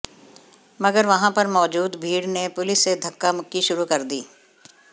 मगर वहां पर मौजूद भीड़ ने पुलिस से धक्का मुक्की शुरू कर दी